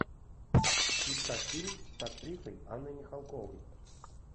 искать фильм с актрисой анной михалковой